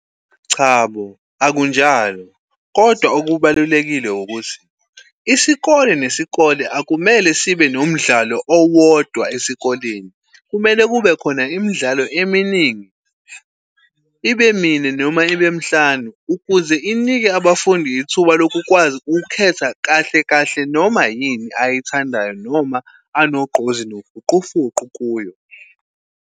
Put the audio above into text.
Chabo, akunjalo, kodwa okubalulekile ukuthi isikole nesikole akumele sibe nomdlalo owodwa esikoleni. Kumele kube khona imidlalo eminingi, ibe mine noma ibe mhlanu ukuze inike abafundi ithuba loku kwazi ukhetha kahle kahle noma yini ayithandayo, noma anogqozi nofuqufuqu kuyo.